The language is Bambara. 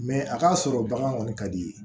a ka sɔrɔ bagan kɔni ka di ye